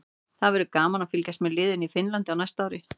Það verður gaman að fylgjast með liðinu í Finnlandi á næsta ári.